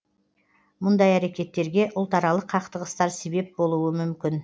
мұндай әрекеттерге ұлтаралық қақтығыстар себеп болуы мүмкін